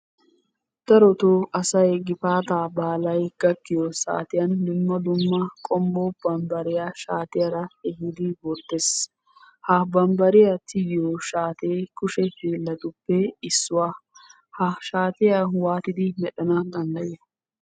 Darotoo asay gifaataa baalay gakkiyo saatiyan dumma dumma qommo bambariya shaatiyara ehidi wottes. Ha bambariya tigiyo shaatee kushe hiillattuppe issuwaa. Ha shaatiya waatidi medhdhanaw danddayiyo?